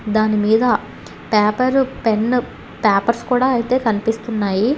దానిమీద paper pen papers కూడా అయితే కనిపిస్తున్నాయి.